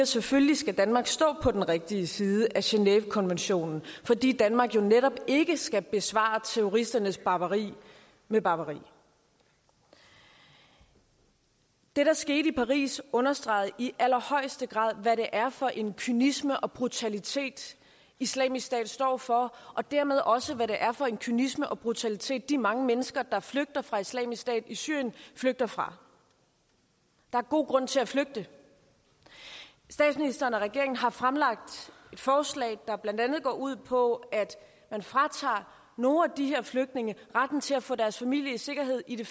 selvfølgelig skal danmark stå på den rigtige side af genèvekonventionen fordi danmark jo netop ikke skal besvare terroristernes barbari med barbari det der skete i paris understregede i allerhøjeste grad hvad det er for en kynisme og brutalitet islamisk stat står for og dermed også hvad det er for en kynisme og brutalitet de mange mennesker der flygter fra islamisk stat i syrien flygter fra der er god grund til at flygte statsministeren og regeringen har fremlagt et forslag der blandt andet går ud på at man fratager nogle af de her flygtninge retten til at få deres familie i sikkerhed i de